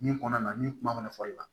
Min kɔnɔ na ni kuma mana fɔli la